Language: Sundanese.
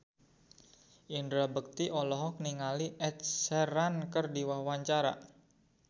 Indra Bekti olohok ningali Ed Sheeran keur diwawancara